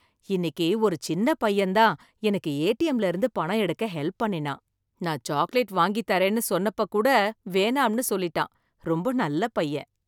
இன்னிக்கு ஒரு சின்ன பையன் தான் எனக்கு ஏடிஎம்ல இருந்து பணம் எடுக்க ஹெல்ப் பண்ணுனான், நான் சாக்லேட் வாங்கித் தரேன்னு சொன்னப்ப கூட வேணாம்னு சொல்லிட்டான். ரொம்ப நல்ல பையன்.